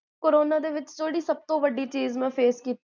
corona ਦੇ ਵਿੱਚ ਜੇਹੜੀ ਸਬ ਤੋ ਵੱਡੀ ਚੀਜ਼ ਮੈਂ face ਕੀਤੀ,